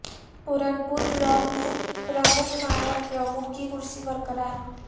پران پور بلاک میں پرمکھ نائب پرمکھ کی کرسی برقرار